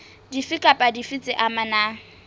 dife kapa dife tse amanang